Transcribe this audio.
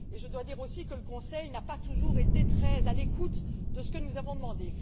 Je dois dire aussi que le Conseil n'a pas toujours été très à l'écoute de ce que nous avons demandé.